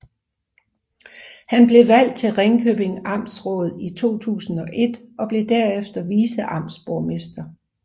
Han blev valgt til Ringkjøbing Amtsråd i 2001 og blev derefter viceamtsborgmester